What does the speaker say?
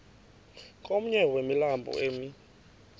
komnye wemilambo emi